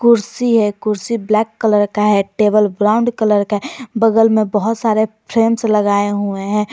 कुर्सी है कुर्सी ब्लैक कलर का है टेबल ब्राउन कलर का है बगल में बहुत सारे फ्रेम्स लगाए हुए हैं।